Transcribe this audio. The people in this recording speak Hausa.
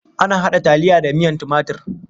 Ana haɗa taliya da miyan timatur.